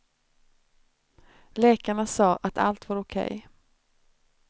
Läkarna sa att allt var okej.